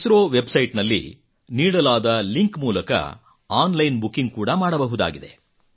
ISRO website ನಲ್ಲಿ ನೀಡಲಾದ link ಮೂಲಕ ಆನ್ ಲೈನ್ ಬುಕಿಂಗ್ ಕೂಡಾ ಮಾಡಬಹುದಾಗಿದೆ